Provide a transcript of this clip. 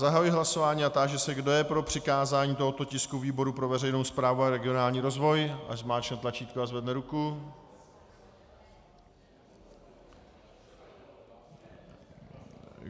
Zahajuji hlasování a táži se, kdo je pro přikázání tohoto tisku výboru pro veřejnou správu a regionální rozvoj, ať zmáčkne tlačítko a zvedne ruku.